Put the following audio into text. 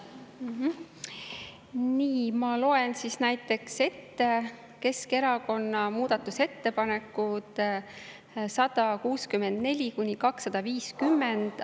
Nii, ma loen siis näiteks ette Keskerakonna muudatusettepanekud 164–250.